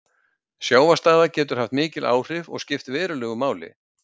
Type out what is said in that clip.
Sjávarstaða getur haft mikil áhrif og skipt verulegu máli.